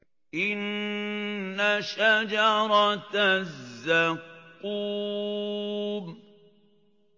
إِنَّ شَجَرَتَ الزَّقُّومِ